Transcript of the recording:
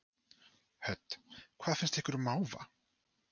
Hödd: Hvað finnst ykkur um máva?